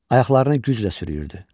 Ayaqlarını güclə sürüyürdü.